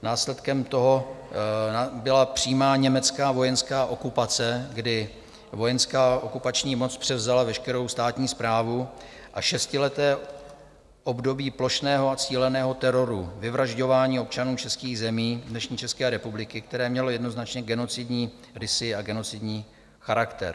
Následkem toho byla přímá německá vojenská okupace, kdy vojenská okupační moc převzala veškerou státní správu, a šestileté období plošného a cíleného teroru, vyvražďování občanů českých zemí, dnešní České republiky, které mělo jednoznačně genocidní rysy a genocidní charakter.